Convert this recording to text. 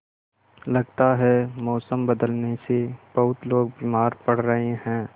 लगता है मौसम बदलने से बहुत लोग बीमार पड़ रहे हैं